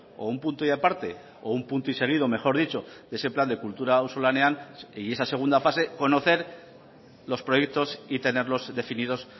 o un punto y aparte o un punto y seguido mejor dicho de ese plan de kultura auzolanean y esa segunda fase conocer los proyectos y tenerlos definidos